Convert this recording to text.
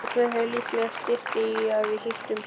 Hugsaðu þér, líklega styttist í að við hittumst.